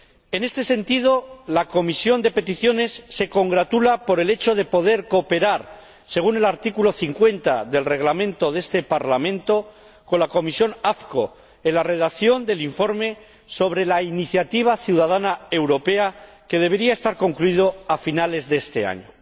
En este sentido, la Comisión de Peticiones se congratula por el hecho de poder cooperar, según el artículo 50 del Reglamento del Parlamento, con la Comisión de Asuntos Constitucionales en la redacción del informe sobre la Iniciativa Ciudadana Europea, que debería estar concluido a finales de este año.